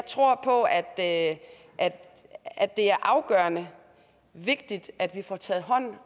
tror på at det er afgørende vigtigt at vi får taget hånd